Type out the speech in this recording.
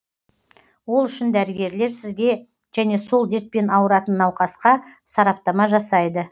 ол үшін дәрігерлер сізге және сол дертпен ауыратын науқасқа сараптама жасайды